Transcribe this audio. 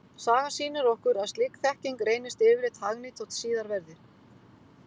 Sagan sýnir okkur að slík þekking reynist yfirleitt hagnýt þótt síðar verði.